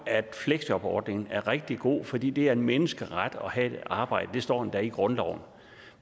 at fleksjobordningen er rigtig god fordi det er en menneskeret at have et arbejde det står endda i grundloven